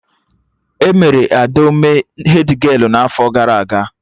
Emere Adaome hedgialụ n'afọ gara aga